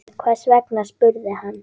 Hvers vegna? spurði hann.